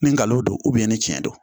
Ni nkalon don ni tiɲɛ don